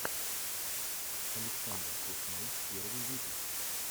александр пушной первый выпуск